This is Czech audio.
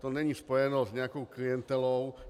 To není spojeno s nějakou klientelou.